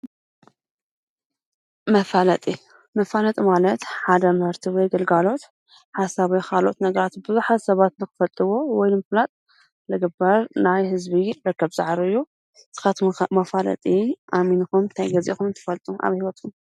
መፋለጢ፡- መፋለጢ ማለት ሓደ ምህርቲ ወይ ግልጋሎት ሓሳብ ወይ ካልኦት ነገራት ቡዙሓት ሰባት ንክፈልጥዎ ወይ ንምፍላጥ ዝግበር ናይ ህዝቢ ርክብ ፃዕሪ እዩ፡፡ ንስካትኩም ኸ መፋለጢ ኣሚንኹም እንታይ ገዚእኹም ትፈልጡ ኣብ ሂወትኹም?